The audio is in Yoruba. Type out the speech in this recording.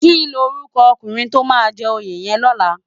Kilórúkò òkúrin tó má jè óyé yèn lòlá?